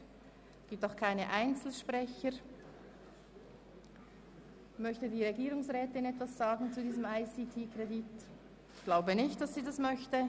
Es gibt auch keine Einzelsprecher, und auch die Regierungsrätin möchte sich nicht dazu äussern.